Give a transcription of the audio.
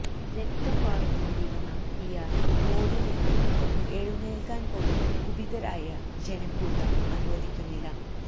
രക്തം വാര്ന്നു കൊണ്ടിരുന്ന ഇയാളെ റോഡില് നിന്നും ഒന്നു എഴുന്നേല്ക്കാന് പോലും കുപിതരായ ജനക്കൂട്ടം അനുവദിക്കുന്നില്ല